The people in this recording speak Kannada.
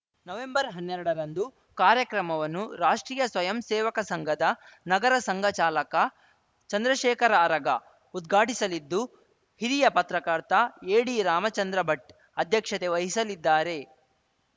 ನವೆಂಬರ್ಹನ್ನೆರಡರಂದು ಕಾರ್ಯಕ್ರಮವನ್ನು ರಾಷ್ಟ್ರೀಯ ಸ್ವಯಂ ಸೇವಕ ಸಂಘದ ನಗರ ಸಂಘ ಚಾಲಕ ಚಂದ್ರಶೇಖರ ಅರಗ ಉದ್ಘಾಟಿಸಲಿದ್ದು ಹಿರಿಯ ಪತ್ರಕರ್ತ ಎಡಿರಾಮಚಂದ್ರ ಭಟ್‌ ಅಧ್ಯಕ್ಷತೆ ವಹಿಸಲಿದ್ದಾರೆ